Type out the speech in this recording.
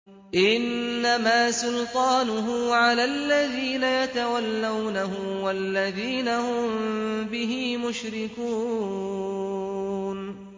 إِنَّمَا سُلْطَانُهُ عَلَى الَّذِينَ يَتَوَلَّوْنَهُ وَالَّذِينَ هُم بِهِ مُشْرِكُونَ